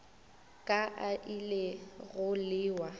ka a ile go lewa